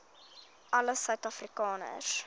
alle suid afrikaners